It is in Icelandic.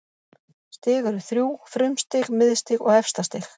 Stig eru þrjú: frumstig, miðstig og efstastig.